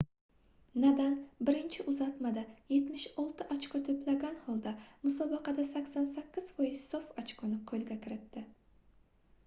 nadal birinchi uzatmada 76 ochko toʻplagan holda musobaqada 88% sof ochkoni qoʻlga kiritdi